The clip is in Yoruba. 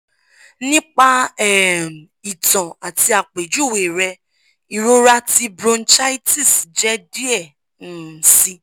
nipa um itan ati apejuwe rẹ irọra ti bronchitis jẹ diẹ um sii